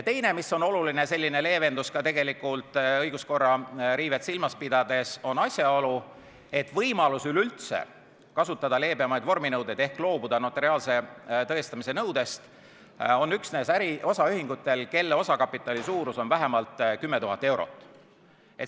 Teine oluline leevendus ka õiguskorra riivet silmas pidades on asjaolu, et võimalus üleüldse kasutada leebemaid vorminõudeid ehk loobuda notariaalse tõestamise nõudest on üksnes osaühingutel, mille osakapitali suurus on vähemalt 10 000 eurot.